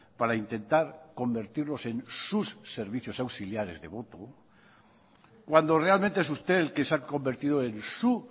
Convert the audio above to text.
para intentar convertirlos en sus servicios auxiliares de cuando realmente es usted el que se ha convertido en su